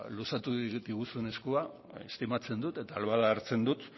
luzatu egin diguzun eskua estimatzen dut eta ahal bada hartzen dut